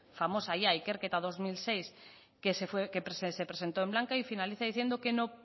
famosa ya ikerketa dos mil seis que se presentó en blanca y finaliza diciendo que no